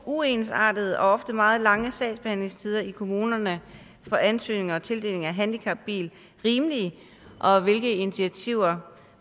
uensartede og ofte meget lange sagsbehandlingstider i kommunerne for ansøgninger om tildeling af en handicapbil rimelige og hvilke initiativer